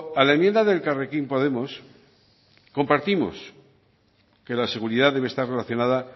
a la enmienda de elkarrekin podemos compartimos que la seguridad debe estar relacionada